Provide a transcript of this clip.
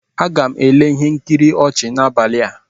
Aga m ele ihe nkiri ọchị n'abalị a.